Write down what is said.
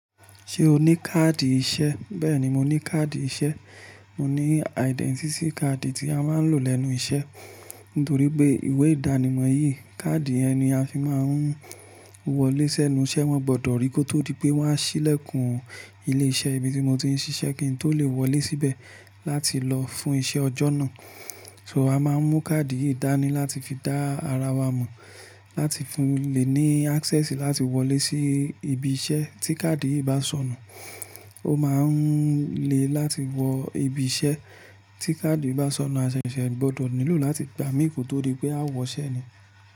Ṣé o ní káàdì iṣẹ́? Bẹ́ẹ̀ni, mo ní káàdì iṣẹ́. Mo ní identity card tí a máa ń lò lẹ́nu iṣẹ́. Nítorí pé ìwé ìdánimọ̀ yìí, káàdì yẹ ni a fi máa ń wọlé sẹ́nu iṣẹ́. Wọ́n gbọdọ̀ rí kó tó di pé wọ́n á ṣílẹ̀kùn ilé iṣẹ́ ibi tí mo ti ń ṣiṣẹ́ kí n tó lè wọlé síbẹ̀ láti lọ fún iṣẹ́ ọjọ́ náà. So a máa ń mú káàdì yìí dáni láti fi dá ara wa mọ̀, láti fi lè ní access láti wọlé sí ibi iṣẹ́. Tí káàdì yìí bá sọnù, ó máa ń le láti wọ ibi iṣẹ́. Tí káàdì bá sọnù, a ṣẹ̀ṣẹ̀ gbọdọ̀ nílò láti gbà mí kò tó di pé a ó wọ iṣẹ́ ni.